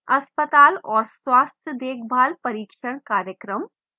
अस्पताल और स्वास्थ्य देखभाल प्रशिक्षण कार्यक्रम